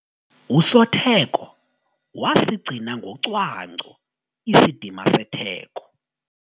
Usotheko wasigcina ngocwangco isidima setheko.